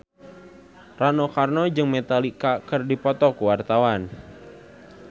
Rano Karno jeung Metallica keur dipoto ku wartawan